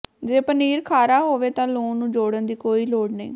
ਜੇ ਪਨੀਰ ਖਾਰਾ ਹੋਵੇ ਤਾਂ ਲੂਣ ਨੂੰ ਜੋੜਨ ਦੀ ਕੋਈ ਲੋੜ ਨਹੀਂ